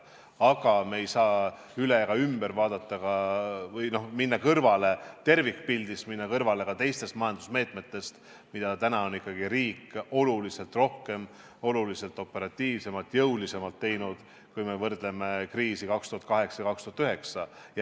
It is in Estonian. Aga me ei saa üle ega ümber vaadata ka sellest või minna kõrvale tervikpildist, minna kõrvale ka teistest majandusmeetmetest, mida ikkagi riik on oluliselt rohkem, oluliselt operatiivsemalt ja jõulisemalt teinud, kui me võrdleme kriisiga aastatel 2008–2009.